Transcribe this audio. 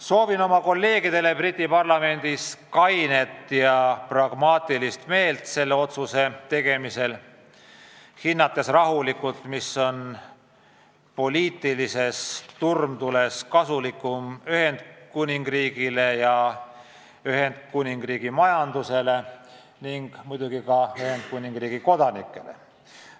Soovin oma kolleegidele Briti Parlamendis kainet meelt ja pragmaatilisust selle otsuse tegemisel, hinnates rahulikult, mis on poliitilises turmtules kasulikum Ühendkuningriigi majandusele ning muidugi ka Ühendkuningriigi kodanikele.